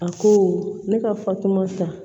A ko ne ka fatumata